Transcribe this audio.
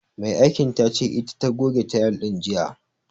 Mai aikin tace ita ta goge tayil din jiya.